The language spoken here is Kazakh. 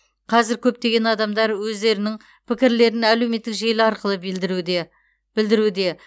қазір көптеген адамдар өздерінің пікірлерін әлеуметтік желі арқылы білдіруде